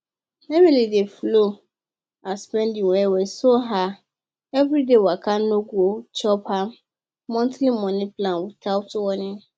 emily dey follow her spending well well so her everyday waka no go chop her monthly money plan without warning